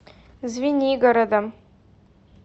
звенигородом